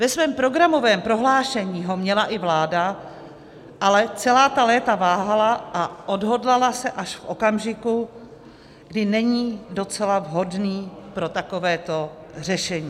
Ve svém programovém prohlášení ho měla i vláda, ale celá ta léta váhala a odhodlala se až v okamžiku, kdy není docela vhodný pro takovéto řešení.